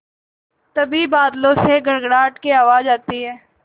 तभी बादलों से गड़गड़ाहट की आवाज़ आती है